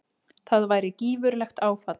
Það væri gífurlegt áfall.